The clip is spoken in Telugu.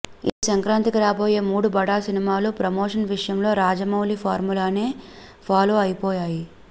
ఈ సంక్రాంతికి రాబోయే మూడు బడా సినిమాలూ ప్రమోషన్ విషయంలో రాజమౌళి ఫార్ములానే పాలో అయిపోయాయి